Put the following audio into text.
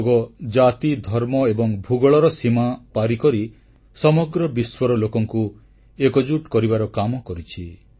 ଯୋଗ ଜାତି ଧର୍ମ ଏବଂ ଭୂଗୋଳର ସୀମା ପାର କରି ସମଗ୍ର ବିଶ୍ୱର ଲୋକଙ୍କୁ ଏକଜୁଟ କରିବାର କାମ କରିଛି